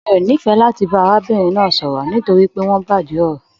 Mi o n'ifẹ láti arábìnrin náà sọ̀rọ̀ nitori pé wọn bàjẹ́ ọ̀rọ̀.